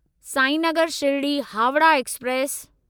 Sainagar Shirdi Howrah express